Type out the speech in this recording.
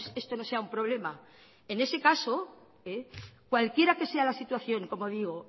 esto no sea un problema en ese caso cualquiera que sea la situación como digo